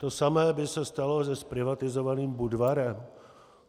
To samé by se stalo se zprivatizovaným Budvarem.